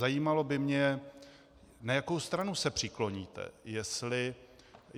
Zajímalo by mě, na jakou stranu se přikloníte.